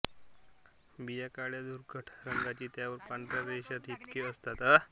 बिया काळ्या धुरकट रंगाची त्यावर पांढऱ्या रेषा ठिपके असतात